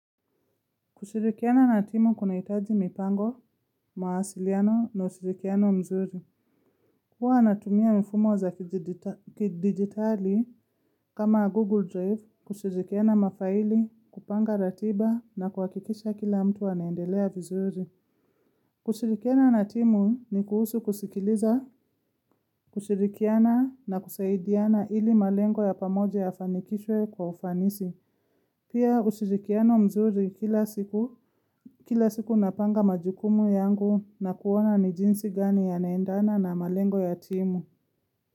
Kushirikiana na timu kunahitaji mipango, mawasiliano na ushirikiano mzuri. Huwa natumia mfumo za kidigitali kama Google Drive, kushirikiana mafaili, kupanga ratiba na kuhakikisha kila mtu anaendelea vizuri. Kushirikiana na timu ni kuhusu kusikiliza, kushirikiana na kusaidiana ili malengo ya pamoja yafanikishwe kwa ufanisi. Pia ushirikiano mzuri kila siku napanga majukumu yangu na kuona ni jinsi gani yanaendana na malengo ya timu.